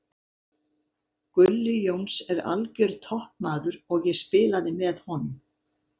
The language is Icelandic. Gulli Jóns er algjör toppmaður og ég spilaði með honum.